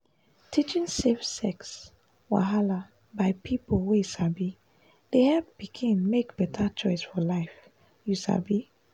teaching safe sex wahala by people wey sabi dey help pikin make beta choice for life you sabi.